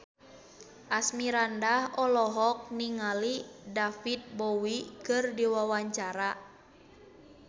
Asmirandah olohok ningali David Bowie keur diwawancara